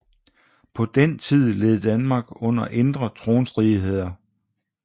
På den tid led Danmark under indre tronstridigheder